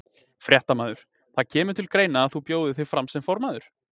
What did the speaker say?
Fréttamaður: Það kemur til greina að þú bjóðir þig fram sem formaður?